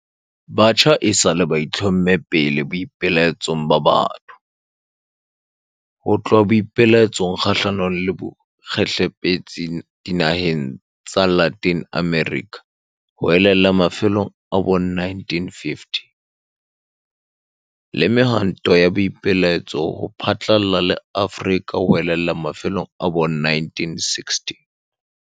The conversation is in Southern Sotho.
Batjha esale ba itlhomme pele boipelaetsong ba batho, ho tloha boipelaetsong kgahlano le bokgehlepetsi dinaheng tsa Latin America ho ella mafelong a bo 1950, le mehwantong ya boipelaetso ho phatlalla le Afrika ho ella mafelong a bo 1960.